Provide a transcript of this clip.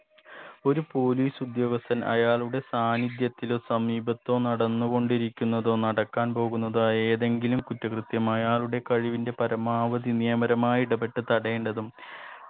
ഒരു police ഉദ്യോഗസ്ഥൻ അയാളുടെ സാന്നിധ്യത്തിലോ സമീപത്തോ നടന്നുകൊണ്ടിരിക്കുന്നതോ നടക്കാൻ പോകുന്നതോ ആയ ഏതെങ്കിലും കുറ്റകൃത്യം അയാളുടെ കസാഹിവിന്റെ പരമാവധി നിയമപരമായി ഇടപെട്ടത് തടയേണ്ടതും